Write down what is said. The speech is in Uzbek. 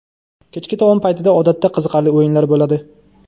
Kechki taom paytida odatda qiziqarli o‘yinlar bo‘ladi.